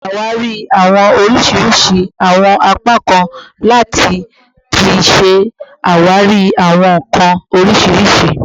Ṣawari awọn oriṣiriṣi awọn apakan lati ti ṣe awari awọn nkan oriṣiriṣi